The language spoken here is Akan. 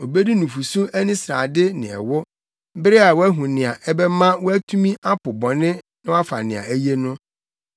Obedi nufusu ani srade ne ɛwo, bere a wahu nea ɛbɛma watumi apo bɔne na wafa nea eye no.